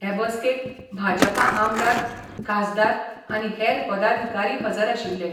हे बसकेक भाजपा आमदार, खासदार आनी हेर पदाधिकारी हजर आशिल्ले.